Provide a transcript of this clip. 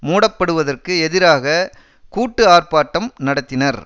மூட படுவதற்கு எதிராக கூட்டு ஆர்ப்பாட்டம் நடத்தினர்